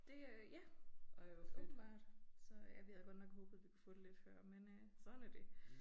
Det øh ja åbenbart. Så ja vi havde godt nok håbet vi kunne få det lidt før men øh sådan er det